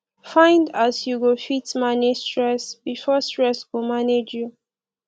find as yu go fit manage stress bifor stress go manage yu